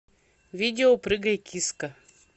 видео прыгай киска